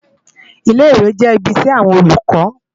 Ilé-Iwé jè ibi iṣè áwòn Ólúkò